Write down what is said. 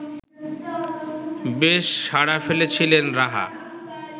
বেশ সাড়া ফেলেছিলেন রাহা